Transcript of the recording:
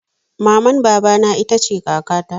Maman baba na ita ce kaka ta